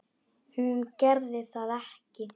Hún gerði það ekki.